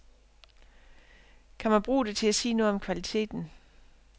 Kan man bruge det til at sige noget om kvalitet.